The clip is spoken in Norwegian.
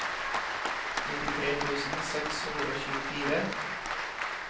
nittitre tusen seks hundre og tjuefire